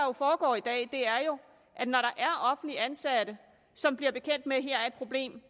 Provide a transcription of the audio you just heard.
foregår i dag er jo at når der er offentligt ansatte som bliver bekendt med at der er et problem